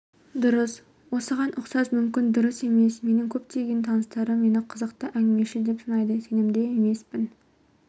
дұрыс осыған ұқсас мүмкін дұрыс емес менің көптеген таныстарым мені қызықты әңгімешіл деп санайды сенімді емеспін